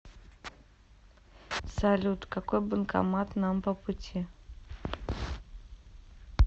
салют какой банкомат нам по пути